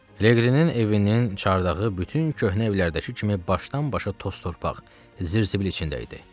Leginin evinin çardağı bütün köhnə evlərdəki kimi başdan-başa toz-torpaq, zirzibil içində idi.